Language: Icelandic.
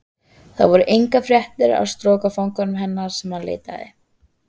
Þar voru engar fréttir af strokufanganum hvernig sem hann leitaði.